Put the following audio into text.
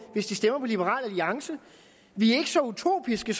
hvis de stemmer på liberal alliance vi er ikke så utopiske